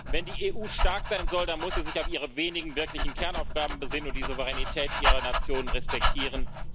Wenn die EU stark sein soll, dann muss sie sich auf ihre wenigen wirklichen Kernaufgaben besinnen und die Souveränität ihrer Nationen respektieren.